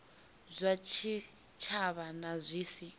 zwa tshitshavha na zwi si